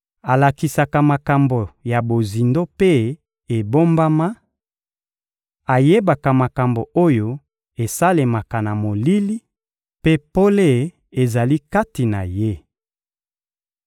Alakisaka makambo ya bozindo mpe ebombama, ayebaka makambo oyo esalemaka na molili, mpe pole ezali kati na Ye.